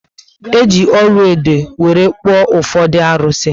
Eji ọlaedo were kpuo ufodu arusi